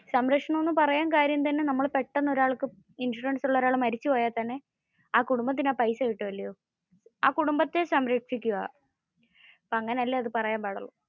സംരക്ഷണം എന്ന് പറയാൻ കാര്യം തന്നെ നമ്മൾ പെട്ടന്ന് ഇൻഷുറൻസ് ഉള്ള ഒരാൾ മരിച്ചു പോയാൽ തന്നെ ആ കുടുംബത്തിന് ആ പൈസ കിട്ടുവല്ലോ, ആ കുടുംബത്തെ സംരക്ഷയ്ക്കുവാ. അപ്പോ അങ്ങനെ അല്ലെ അത് പറയാൻ പാടുള്ളു.